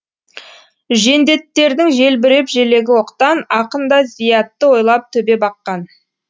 жендеттердің желбіреп желегі оқтан ақын да зиятты ойлап төбе баққан